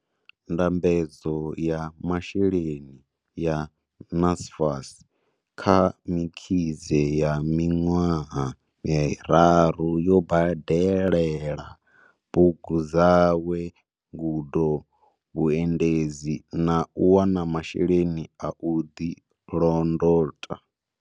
Ndambedzo ya masheleni ya NSFAS kha Mkhize ya miṅwaha miraru yo badelela bugu dzawe, ngudo na vhuendedzi, na u wana masheleni a u ḓilondota.